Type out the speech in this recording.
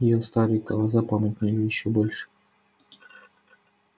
её старые глаза помутнели ещё больше